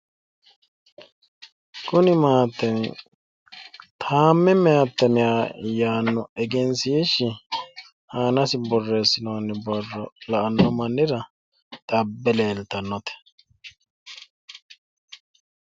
Kuni maatemi taamme maatemi yaanno egensiishshi aanasi borreessinoonni borro la'anno mannira xabbe leeltannote.